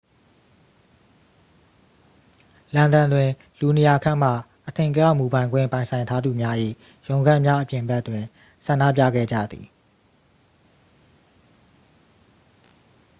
လန်ဒန်တွင် လူ 200 ခန့်မှ အထင်ကရ မူပိုင်ခွင့်ပိုင်ဆိုင်ထားသူများ၏ ရုံးခန်းများအပြင်ဘက်တွင် ဆန္ဒပြခဲ့ကြသည်